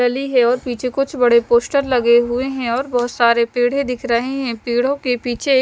गली है और पीछे कुछ बड़े पोस्टर लगे हुए है और बहत सरे पेड़े दिख रहे है पेड़ो के पीछे एक --